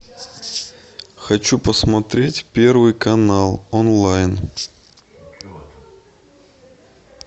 хочу посмотреть первый канал онлайн